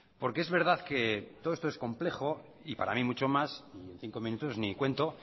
porque es verdad que todo esto es complejo y para mí mucho más y en cinco minutos ni cuento